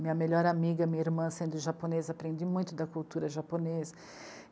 Minha melhor amiga, minha irmã, sendo japonesa, aprendi muito da cultura japonesa.